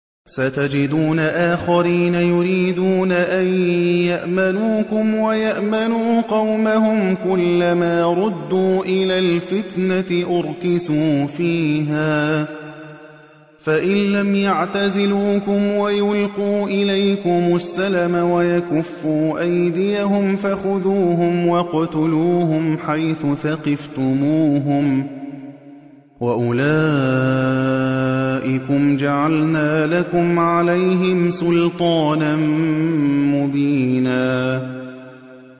سَتَجِدُونَ آخَرِينَ يُرِيدُونَ أَن يَأْمَنُوكُمْ وَيَأْمَنُوا قَوْمَهُمْ كُلَّ مَا رُدُّوا إِلَى الْفِتْنَةِ أُرْكِسُوا فِيهَا ۚ فَإِن لَّمْ يَعْتَزِلُوكُمْ وَيُلْقُوا إِلَيْكُمُ السَّلَمَ وَيَكُفُّوا أَيْدِيَهُمْ فَخُذُوهُمْ وَاقْتُلُوهُمْ حَيْثُ ثَقِفْتُمُوهُمْ ۚ وَأُولَٰئِكُمْ جَعَلْنَا لَكُمْ عَلَيْهِمْ سُلْطَانًا مُّبِينًا